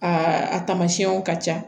A a tamasiɲɛw ka ca